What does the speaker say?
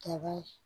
Ka bɔ